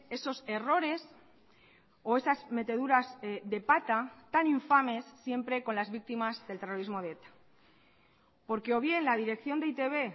esos errores o esas meteduras de pata tan infames siempre con las víctimas del terrorismo de eta porque o bien la dirección de e i te be